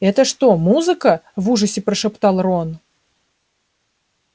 это что музыка в ужасе прошептал рон